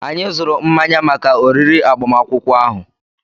Anyị zụrụ mmanya maka oriri agbamakwụkwọ ahụ.